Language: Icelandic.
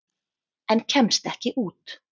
En kemst ekki út.